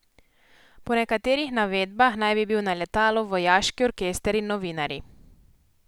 Po nekaterih navedbah naj bi bil na letalu vojaški orkester in novinarji.